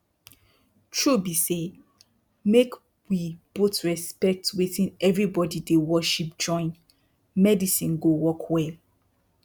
true be saymake we both respect wetin everybody dey worship join medicine go work well.